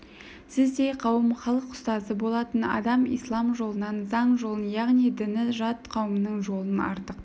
сіздей қауым халық ұстазы болатын адам ислам жолынан заң жолын яғни діні жат қауымның жолын артық